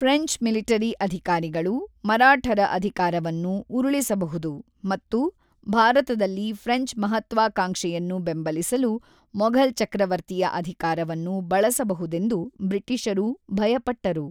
French military ಅಧಿಕಾರಿಗಳು ಮರಾಠರ ಅಧಿಕಾರವನ್ನು ಉರುಳಿಸಬಹುದು ಮತ್ತು ಭಾರತದಲ್ಲಿ ಫ್ರೆಂಚ್ ಮಹತ್ವಾಕಾಂಕ್ಷೆಯನ್ನು ಬೆಂಬಲಿಸಲು ಮೊಘಲ್ ಚಕ್ರವರ್ತಿಯ ಅಧಿಕಾರವನ್ನು ಬಳಸಬಹುದೆಂದು ಬ್ರಿಟಿಷರು ಭಯಪಟ್ಟರು.